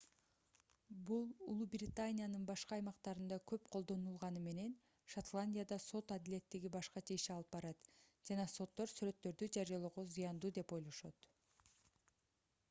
бул улуу британиянын башка аймактарында көп колдонулганы менен шотландияда сот адилеттиги башкача иш алып барат жана соттор сүрөттөрдү жарыялоо зыяндуу деп ойлошот